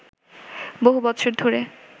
বহু বছর ধরে